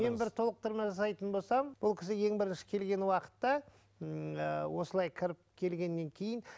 мен бір толықтырма жасайтын болсам бұл кісі ең бірінші келген уақытта осылай кіріп келгеннен кейін